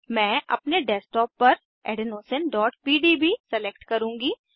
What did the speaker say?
मैं अपने डेस्कटॉप पर adenosineपीडीबी सेलेक्ट करुँगी